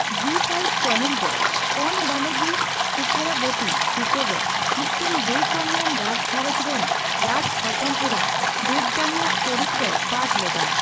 ᱡᱤ ᱕ ᱪᱮᱱᱮᱞᱨᱮ ᱠᱳᱱ ᱵᱚᱱᱮᱜᱤ ᱥᱤᱠᱷᱚᱨᱟᱵᱚᱛᱤ ᱪᱤᱛᱟᱹᱨ ᱨᱮ, ᱢᱤᱫᱴᱟᱝ ᱵᱮᱼᱠᱟᱹᱢᱤᱭᱟᱱ ᱨᱟᱡᱽᱜᱷᱟᱨᱚᱸᱡᱽ ᱨᱮᱱ ᱨᱟᱡᱽ ᱦᱚᱯᱚᱱ ᱮᱨᱟ ᱫᱮᱵᱽᱡᱟᱱᱤ ᱟᱜ ᱪᱚᱨᱤᱛᱨᱮᱭ ᱯᱟᱴᱷ ᱞᱮᱫᱟᱭ ᱾